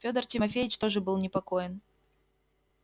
федор тимофеич тоже был непокоен